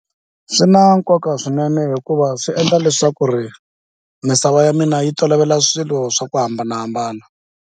Swi na nkoka swinene hikuva swi endla leswaku ri misava ya mina yi tolovela swilo swa ku hambanahambana.